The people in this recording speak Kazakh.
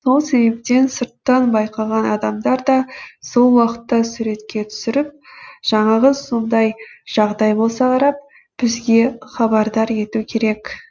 сол себептен сырттан байқаған адамдар да сол уақытта суретке түсіріп жаңағы сондай жағдай болса қарап бізге хабардар ету керек